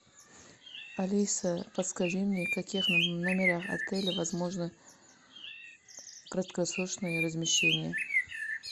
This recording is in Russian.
алиса подскажи мне в каких номерах отеля возможно краткосрочное размещение